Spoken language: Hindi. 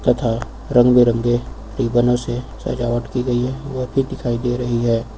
तथा रंग बिरंगे रिबनो से सजावट की गई है वॉल भी दिखाई दे रही है।